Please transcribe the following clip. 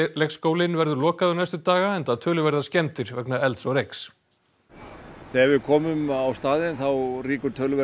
leikskólinn verður lokaður næstu daga enda töluverðar skemmdir vegna elds og reyks þegar við komum á staðinn þá rýkur töluvert